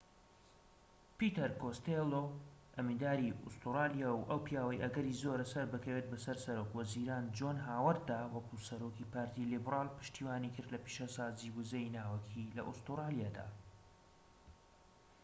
پیتەر کۆستێلۆ ئەمینداری ئوستورلیا و ئەو پیاوەی ئەگەری زۆرە سەربکەوێت بەسەر سەرۆک وەزیران جۆن هاوەرددا وەکو سەرۆکی پارتی لیبرال پشتیوانیکرد لە پیشەسازیی وزەی ناوەکی لە ئوستوڕالیادا